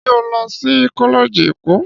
Ṣé ó lọ sí kọ́lẹ́ẹ̀jì ẹ̀kọ́?